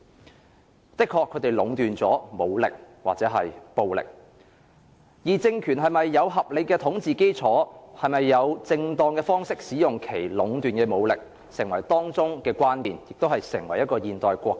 國家或政府的確壟斷了武力或暴力，而政權是否有合理的統治基礎、是否以正當的方式使用其壟斷的武力，便成為當中的關鍵，亦為爭議所在。